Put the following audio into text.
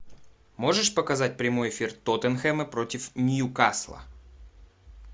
можешь показать прямой эфир тоттенхэма против ньюкасла